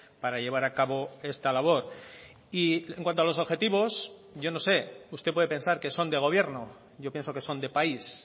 para llevar a cabo esta labor y en cuanto a los objetivos yo no sé usted puede pensar que son de gobierno yo pienso que son de país